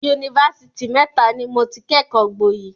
Yunifásitì mẹ́ta ni mo ti kẹ́kọ̀ọ́ gboyè.